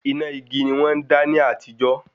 Iná igi ni wọ́n ń dá ní àtijó